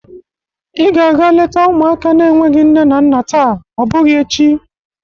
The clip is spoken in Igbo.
Ị ga-aga leta ụmụaka n'enweghi nne na nna taa, ọ bụgịi echi!